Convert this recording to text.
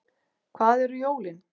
Hvað eru jólin